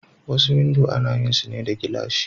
Wasu windo ana yin sune da gilashi.